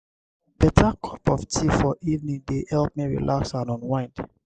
beta cup of tea for evening dey help me relax and unwind.